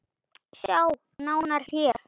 Sjá nánar HÉR!